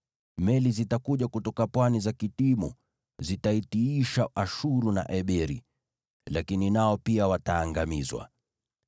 Meli zitakuja kutoka pwani za Kitimu, zitaitiisha Ashuru na Eberi, lakini nao pia wataangamizwa.”